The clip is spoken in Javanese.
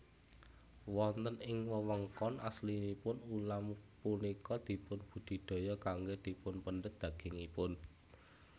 Wonten ing wewengkon aslinipun ulam punika dipun budidaya kanggé dipunpendhet dagingipun